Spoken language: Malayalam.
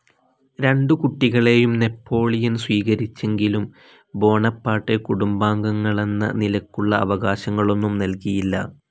രണ്ടു കുട്ടികളെയും നാപ്പോളിയൻ സ്വീകരിച്ചെങ്കിലും ബോണപ്പാർട്ടെ കുടുംബാംഗങ്ങളെന്ന നിലയ്ക്കുള്ള അവകാശങ്ങളൊന്നും നൽകിയില്ല.